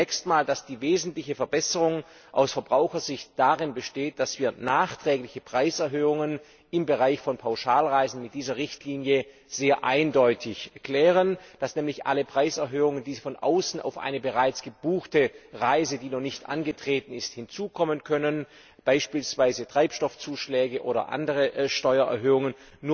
Ich glaube zunächst mal, dass die wesentliche Verbesserung aus Verbrauchersicht darin besteht, dass wir nachträgliche Preiserhöhungen im Bereich von Pauschalreisen mit dieser Richtlinie sehr eindeutig klären, dass nämlich alle Preiserhöhungen, die von außen zu einer bereits gebuchten Reise, die noch nicht angetreten wurde, hinzukommen können beispielsweise Treibstoffzuschläge oder andere Steuererhöhungen